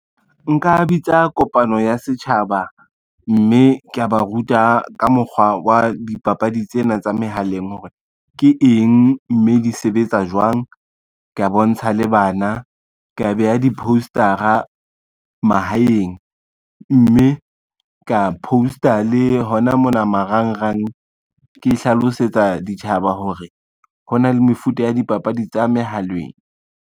Nka bitsa kopano ya setjhaba, mme kea ba ruta ka mokgwa wa dipapadi tsena tsa mehaleng hore ke eng, mme di sebetsa jwang. Ke a bontsha le bana, ka be ya di-poster-a mahaeng, mme ka poster le hona mona marangrang ke hlalosetsa ditjhaba hore, ho na le mefuta ya dipapadi tsa mohaleng.